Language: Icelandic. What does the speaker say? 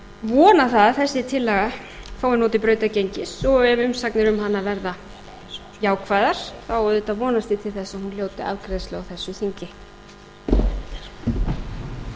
vona það að þessi tillaga fái notið brautargengis og ef umsagnir um hana verða jákvæðar þá auðvitað vonast ég til þess að hún hljóti afgreiðslu á þessu þingi